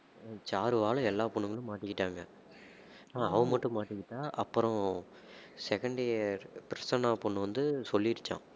சாருவால எல்லா பொண்ணுங்களும் மாட்டிக்கிட்டாங்க அவ மட்டும் மாட்டிக்கிட்டா அப்புறம் second year பிரசன்னா பொண்ணு வந்து சொல்லிடுச்சாம்